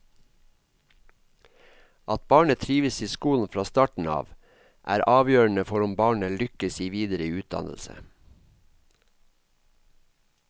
At barnet trives i skolen fra starten av er avgjørende for om barnet lykkes i videre utdannelse.